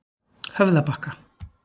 Höfðabakka